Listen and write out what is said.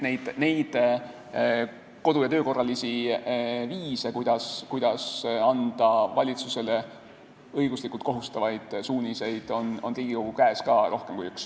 Nii et kodu- ja töökorralisi viise, kuidas anda valitsusele õiguslikult kohustavaid suuniseid, on Riigikogu käes rohkem kui üks.